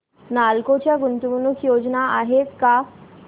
नालको च्या गुंतवणूक योजना आहेत का